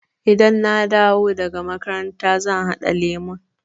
Idan na dawo daga makaranta zan haɗa lemun.